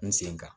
N sen kan